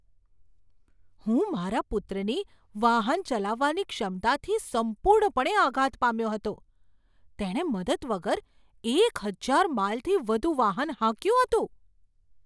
હું મારા પુત્રની વાહન ચલાવવાની ક્ષમતાથી સંપૂર્ણપણે આઘાત પામ્યો હતો! તેણે મદદ વગર એક હજાર માઈલથી વધુ વાહન હાંક્યું હતું!